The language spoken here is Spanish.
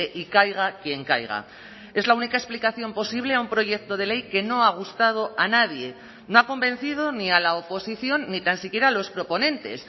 y caiga quien caiga es la única explicación posible a un proyecto de ley que no ha gustado a nadie no ha convencido ni a la oposición ni tan siquiera a los proponentes